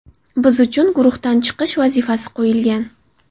Biz uchun guruhdan chiqish vazifasi qo‘yilgan.